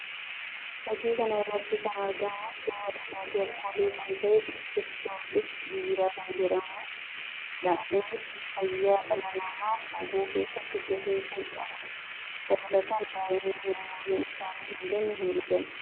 Fakkii kana irratti kan argamu suuraa dhugaatii alkoolii kan ta'e Qiddus Giyoorgis Biiraa kan jedhamuu dha. Innis fayyaa dhala namaa hubu keessatti gahee kan qabuu dha. Dabalataan daa'imni umuriin isaanii hin geenye hin dhugan.